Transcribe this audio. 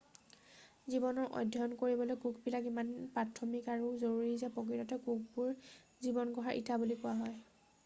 জীৱনৰ অধ্যায়ণ কৰিবলৈ কোষবিলাক ইমান প্ৰাথমিক আৰু জৰুৰী যে প্ৰকৃততে কোষবোৰক জীৱন গঢ়াৰ ইটা বুলি কোৱা হয়